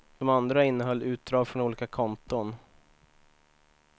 De andra innehöll utdrag från olika konton.